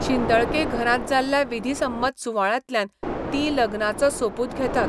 शिंदळके घरांत जाल्ल्या विधिसम्मत सुवाळ्यांतल्यान तीं लग्नाचो सोपूत घेतात.